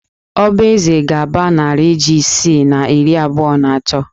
Ọba eze ga-aba narị jí isii na iri abụọ na atọ